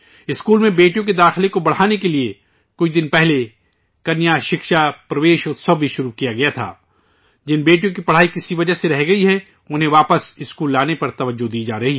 بیٹیوں کا اسکول میں داخلے بڑھانے کے لئے کچھ دن پہلے ہی کنیا شکشا پرویش اتسو بھی شروع کیا گیا ہے، جن بیٹیوں کی کسی وجہ سے پڑھائی چھوٹ گئی ہے، انہیں اسکول واپس لانے پر توجہ دی جارہی ہے